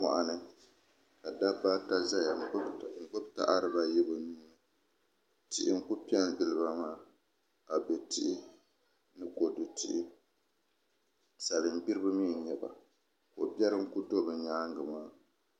Moɣani ka dabba ata ʒɛya n gbuni taha dibayi bi nuuni tihi n ku piɛ n giliba maa abɛ tihi ni kodu tihi salin gbiribi mii n nyɛba ko biɛri n ku bɛ bi nyaangi maa